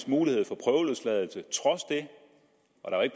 mulighed for prøveløsladelse og